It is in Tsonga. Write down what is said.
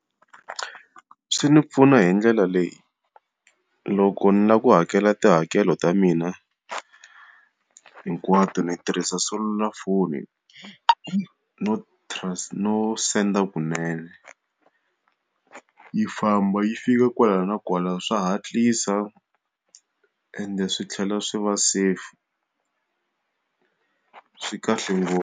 Swi ndzi pfuna hi ndlela leyi, loko ni lava ku hakela tihakelo ta mina hinkwato ni tirhisa selulafoni no no senda kunene. Yi famba yi fika kwala na kwala swa hatlisa, ende swi tlhela swi va safe. Swi kahle ngopfu.